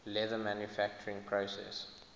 leather manufacturing process